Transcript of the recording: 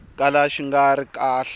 kala xi nga ri kahle